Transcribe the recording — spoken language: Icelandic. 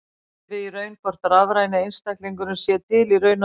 Vitum við í raun hvort rafræni einstaklingurinn sé til í raun og veru?